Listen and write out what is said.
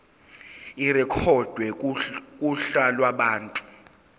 irekhodwe kuhla lwabantu